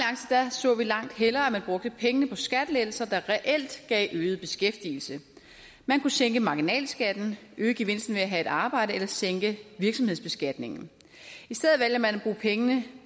så vi langt hellere at man brugte pengene på skattelettelser der reelt gav øget beskæftigelse man kunne sænke marginalskatten øge gevinsten ved at have et arbejde eller sænke virksomhedsbeskatningen i stedet vælger man at bruge pengene